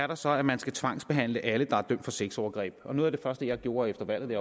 der så at man skal tvangsbehandle alle der er dømt for sexovergreb noget af det første jeg gjorde efter valget da